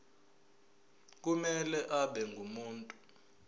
kumele abe ngumuntu